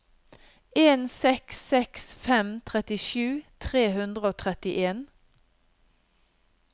en seks seks fem trettisju tre hundre og trettien